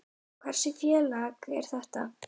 Hversu fallegt er það?